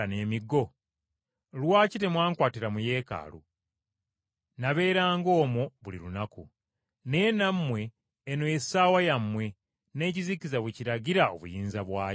Lwaki temwankwatira mu Yeekaalu? Nabeeranga omwo buli lunaku. Naye nammwe eno ye ssaawa yammwe, n’ekizikiza we kiragira obuyinza bwakyo.”